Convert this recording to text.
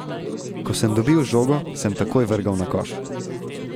Ko sem dobil žogo, sem takoj vrgel na koš.